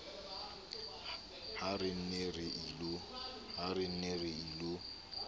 ha re ne re ilo